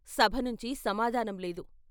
సభ నుంచి సమాధానం లేదు.